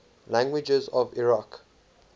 languages of iraq